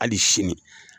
Hali sini